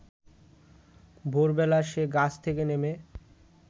ভোরবেলা সে গাছ থেকে নেমে